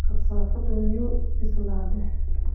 Kasaafada miyuu bislaaday?